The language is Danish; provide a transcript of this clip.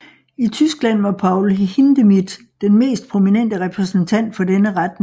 I Tyskland var Paul Hindemith den mest prominente repræsentant for denne retning